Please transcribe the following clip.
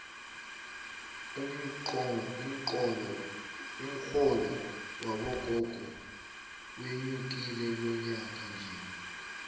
umxholo wabogogo wenyukile lonyakanje